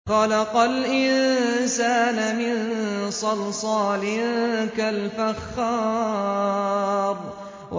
خَلَقَ الْإِنسَانَ مِن صَلْصَالٍ كَالْفَخَّارِ